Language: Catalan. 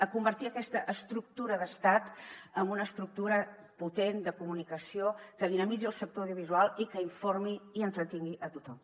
a convertir aquesta estructura d’estat en una estructura potent de comunicació que dinamitzi el sector audiovisual i que informi i entretingui a tothom